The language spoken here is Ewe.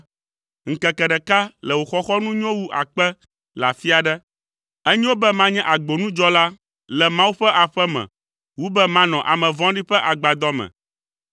Ŋkeke ɖeka le wò xɔxɔnu nyo wu akpe le afi aɖe; enyo be manye agbonudzɔla le Mawu ƒe aƒe me wu be manɔ ame vɔ̃ɖi ƒe agbadɔ me,